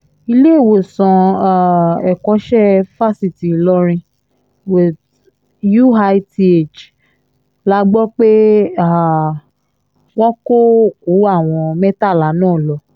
iléèwòsàn um ẹ̀kọ́ṣẹ́ fásitì ìlọrin uith la gbọ́ pé um wọ́n kó òkú àwọn mẹ́tàlá náà lọ